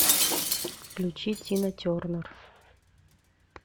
включи тина тернер